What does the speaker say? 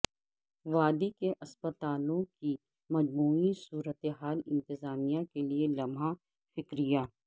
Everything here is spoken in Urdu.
وادی کے اسپتالوں کی مجموعی صورتحال انتظامیہ کیلئے لمحہ فکریہ